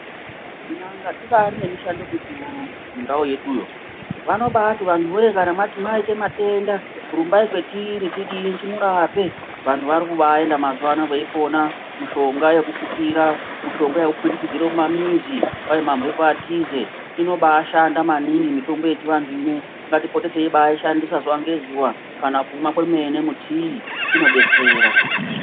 N'anga dzibari nemushando mukuru mundau yeduyo vanobati vantuwe kana mati maite matenda rumbai kwetiri tidii timurape vantu varikubaenda mazuwanaya veipona mushonga yekufukira, mushonga yekupwititidzire mumamizi kwai mamhepo atize inobashanda maningi mitombo yechivantu ineyi ngatipote teibaishandisa zuwa ngezuwa kana kumwa kwemene mutiii inobetsera.